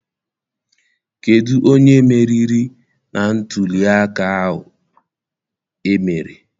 Kedụ onye meriri na ntụliaka ahụ emere?